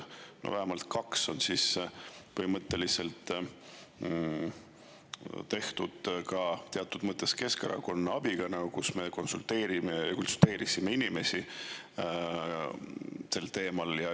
Vähemalt kaks neist on teatud mõttes tehtud Keskerakonna abiga: me inimestele sel teemal.